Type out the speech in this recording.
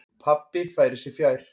Pabbi færir sig fjær.